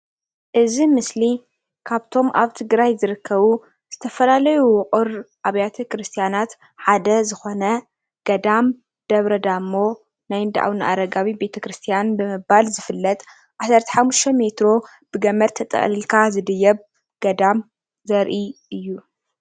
እዚ ምስሊ ካብቶም ኣብ ትግራይ ዝርከቡ ዝተፈላለዩ ውቅር ኣብያተ ክርስትያናት ሓደ ዝኮነ ገዳም ደብረ ዳሞ ናይ እንዳ ኣቡነ ኣረጋዊ ቤተ ክርስትያን ብምባል ዝፍለጥ 15 ሜትሮ ብገመድ ተጠቅሊልካ ዝድየብ ገዳም ዘርኢ እዩ፡፡